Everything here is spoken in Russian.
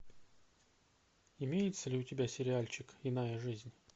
имеется ли у тебя сериальчик иная жизнь